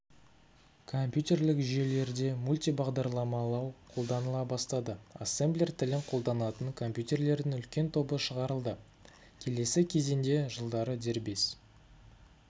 компьютерлік жүйелерде мультибағдарламалау қолданыла бастады ассемблер тілін қолданатын компьютерлердің үлкен тобы шығарылды келесі кезеңдер жылдары дербес